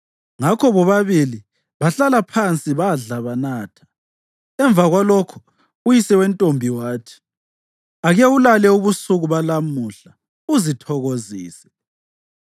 Ngakho bobabili bahlala phansi badla banatha. Emva kwalokho uyise wentombi wathi, “Ake ulale ubusuku balamuhla uzithokozise.”